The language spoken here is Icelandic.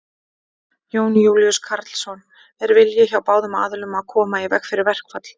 Jón Júlíus Karlsson: Er vilji hjá báðum aðilum að koma í veg fyrir verkfall?